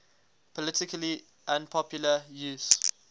politically unpopular use